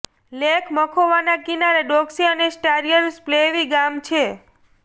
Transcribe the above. lake મખોવાના કિનારે Doksy અને સ્ટારીય સ્પ્લેવી ગામ છે